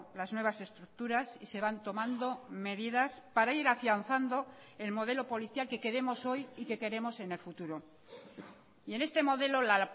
las nuevas estructuras y se van tomando medidas para ir afianzando el modelo policial que queremos hoy y que queremos en el futuro y en este modelo la